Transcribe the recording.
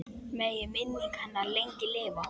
Megi minning hennar lengi lifa.